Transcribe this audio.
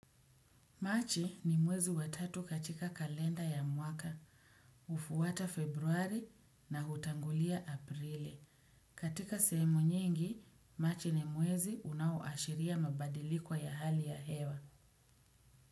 Machi ni mwezi wa tatu katika kalenda ya mwaka, hufuata februari na hutangulia aprili. Katika sehemu nyingi, machi ni mwezi unaoashiria mabadiliko ya hali ya hewa.